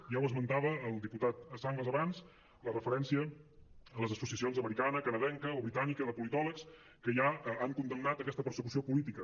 ja ho esmentava el diputat sanglas abans la referència a les associacions americana canadenca o britànica de politòlegs que ja han condemnat aquesta persecució política